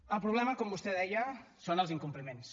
el problema com vostè deia són els incompliments